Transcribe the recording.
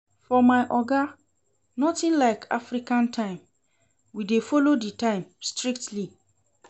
For my oga, notin like African time, we dey folo di time strictly.